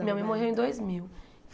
Minha mãe morreu em dois mil.